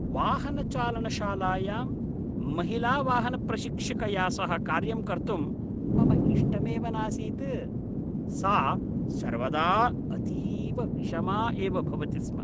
वाहनचालनशालायां महिलावाहनप्रशिक्षिकया सह कार्यं कर्तुं मम इष्टमेव नासीत्। सा सर्वदा अतीव विषमा एव भवति स्म।